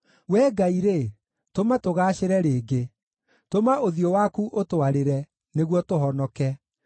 Wee Ngai-rĩ, tũma tũgaacĩre rĩngĩ; tũma ũthiũ waku ũtwarĩre, nĩguo tũhonoke.